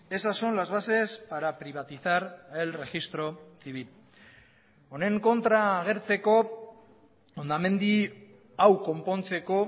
esas son las bases para privatizar el registro civil honen kontra agertzeko hondamendi hau konpontzeko